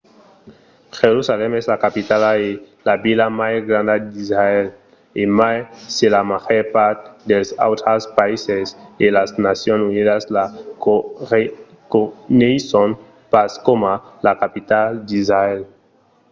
jerusalèm es la capitala e la vila mai granda d'israèl e mai se la màger part dels autres païses e las nacions unidas la reconeisson pas coma la capitala d'israèl